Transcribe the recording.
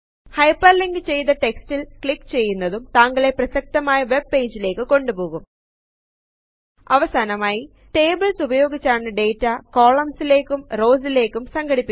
hyperlink ചെയ്തു റ്റെക്സ്റ്റിൽ click ചെയ്യുന്നതും താങ്കളെ പ്രസക്തമായ വെബ് പേജിലേക്ക് കൊണ്ടുപോകും അവസാനമായി ടേബിളസ് ഉപയോഗിച്ചാണ് ഡാറ്റ കൊളുംസിലെക്കും റോസിലേക്കും സംഖടിപ്പിക്കുന്നത്